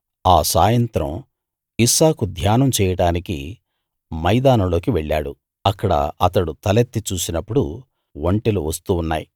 ఆ సాయంత్రం ఇస్సాకు ధ్యానం చేయడానికి మైదానంలోకి వెళ్ళాడు అక్కడ అతడు తలెత్తి చూసినప్పుడు ఒంటెలు వస్తూ ఉన్నాయి